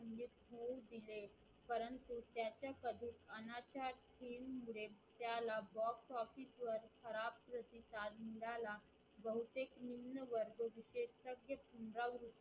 त्याला Box office वर खराब प्रतिसाद मिळाला बहुतेक निंम वर्ग तिथे शक्य